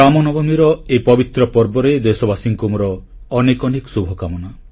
ରାମନବମୀର ଏହି ପବିତ୍ର ପର୍ବରେ ଦେଶବାସୀଙ୍କୁ ମୋର ଅନେକ ଅନେକ ଶୁଭକାମନା